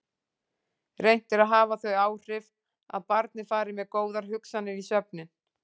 Reynt er að hafa þau áhrif að barnið fari með góðar hugsanir í svefninn.